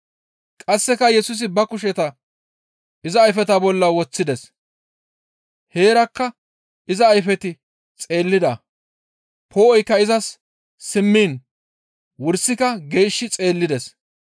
Qasseka Yesusi ba kusheta iza ayfeta bolla woththides; heerakka iza ayfeti xeellida; poo7oykka izas simmiin wursika geeshshi xeellides.